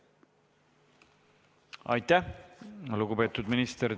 Aitäh, lugupeetud minister!